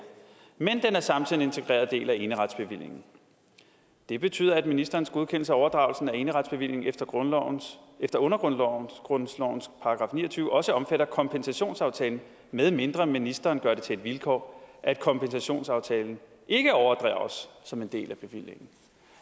men den er samtidig en integreret del af eneretsbevillingen det betyder at ministerens godkendelse af overdragelsen af eneretsbevillingen efter undergrundslovens § ni og tyve også omfatter kompensationsaftalen medmindre ministeren gør det til et vilkår at kompensationsaftalen ikke overdrages som en del af bevillingen